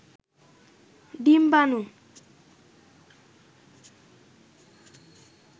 ডিম্বানু